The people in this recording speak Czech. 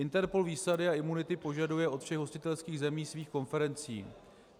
INTERPOL výsady a imunity požaduje od všech hostitelských zemí svých konferencí.